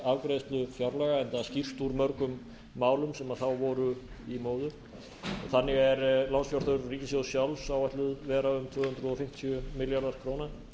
afgreiðslu fjárlaga enda skýrst úr mörgum málum sem þá voru í móðu þannig er lánsfjárþörf ríkissjóðs sjálfs áætluð vera um tvö hundruð fimmtíu milljarðar króna